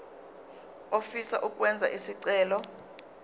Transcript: ofisa ukwenza isicelo